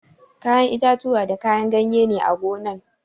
Kayan itatuwa da kayan ganye ne a gonan